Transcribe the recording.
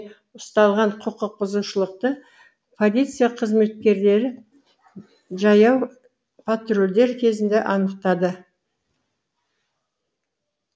ұсталған құқық бұзушылықты полиция қызметкерлері жаяу патрульдер кезінде анықтады